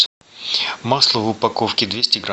масло в упаковке двести грамм